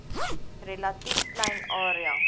relatief klein area